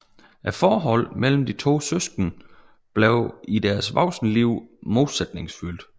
Forholdet mellem de to søskende blev i deres voksne liv modsætningsfyldt